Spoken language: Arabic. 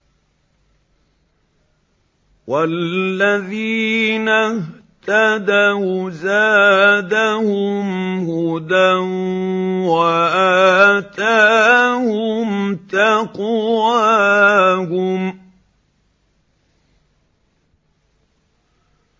وَالَّذِينَ اهْتَدَوْا زَادَهُمْ هُدًى وَآتَاهُمْ تَقْوَاهُمْ